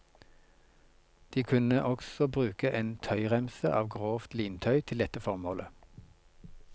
De kunne også bruke en tøyremse av grovt lintøy til dette formålet.